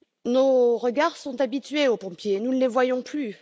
Nos regards sont habitués aux pompiers, nous ne les voyons plus!